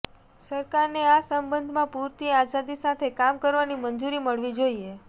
સરકારને આ સંબંધમાં પુરતી આઝાદી સાથે કામ કરવાની મંજુરી મળવી જોઇએ